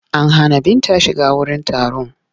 An hana Binta shiga wurin taron.